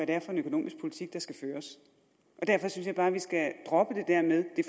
det er for en økonomisk politik der skal føres derfor synes jeg bare at vi skal droppe det der med at